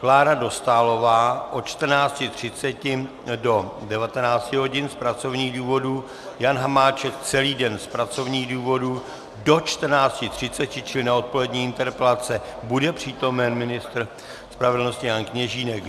Klára Dostálová od 14.30 do 19.00 hodin z pracovních důvodů, Jan Hamáček celý den z pracovních důvodů, do 14.30 čili na odpolední interpelace bude přítomen ministr spravedlnosti Jan Kněžínek.